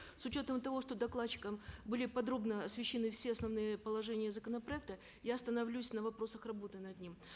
с учетом того что докладчиком были подробно освещены все основные положения законопроекта я остановлюсь на вопросах работы над ним